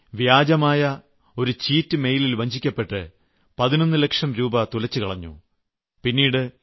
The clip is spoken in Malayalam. ഒരു സ്ത്രീ ഫ്രോഡായ ഒരു ചീറ്റ് മെയിലിൽ വഞ്ചിക്കപ്പെട്ട് 11 ലക്ഷം രൂപ തുലച്ചു കളഞ്ഞു